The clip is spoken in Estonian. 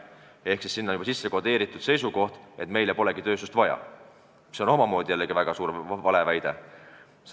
Sellesse on sisse kodeeritud seisukoht, et meile polegi tööstust vaja, mis on omakorda väga suur valeväide.